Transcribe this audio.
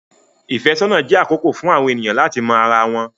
Ìfẹ́sọ́nà jẹ́ àkókò fún àwọn ènìyàn láti mọ ara wọn.